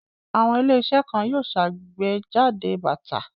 Àwọn ilé-iṣẹ́ kan yóò ṣàgbéjáde bàtà.